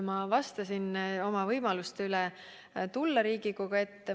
Ma vastasin kutsele tulla Riigikogu ette.